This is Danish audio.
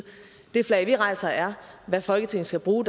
det flag vi rejser er hvad folketinget skal bruge